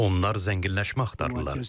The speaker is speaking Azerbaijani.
Onlar zənginləşmə axtarırlar.